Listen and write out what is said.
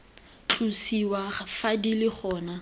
tlosiwa fa di le gona